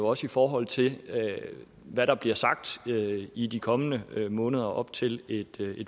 også i forhold til hvad der bliver sagt i de kommende måneder op til et